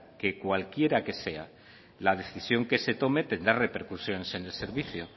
que cualquiera que sea la decisión que se tome tendrá repercusiones en el servicio